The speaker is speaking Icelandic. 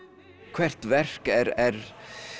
hvert verk er